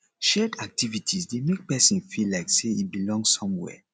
shared activities de make persin feel like say in belong somewhere